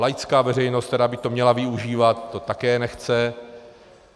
Laická veřejnost, která by to měla využívat, to také nechce.